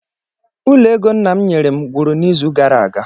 Ụlọ ego nna m nyere m gwụrụ n'izu gara aga.